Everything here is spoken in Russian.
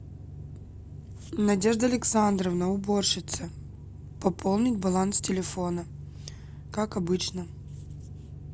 надежда александровна уборщица пополнить баланс телефона как обычно